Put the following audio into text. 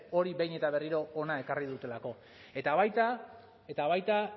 hori behin eta berriro hona ekarri dutelako eta baita eta baita